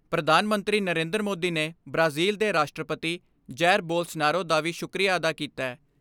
ਪ੍ਰਧਾਨ ਮੰਤਰੀ ਨਰੇਂਦਰ ਮੋਦੀ ਨੇ ਬ੍ਰਾਜ਼ਿਲ ਦੇ ਰਾਸ਼ਟਰਪਤੀ ਜੈਰ ਬੋਲਸਨਾਰੋ ਦਾ ਵੀ ਸ਼ੁੱਕਰੀਆ ਅਦਾ ਕੀਤੈ।